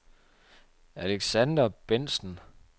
Alexander Bendtsen